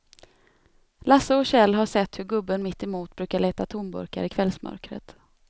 Lasse och Kjell har sett hur gubben mittemot brukar leta tomburkar i kvällsmörkret.